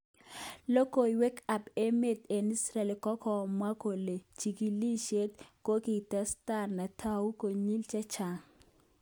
Logoiwek kap emet eng Israel kokamws kole chechikilishe kokitebsen Natehau konyil chechang.